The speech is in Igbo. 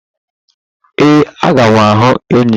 Ee, aga m ahu enyi.